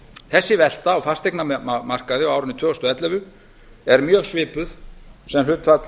þessi velta á fasteignamarkaði á árinu tvö þúsund og ellefu er mjög svipuð sem hlutfall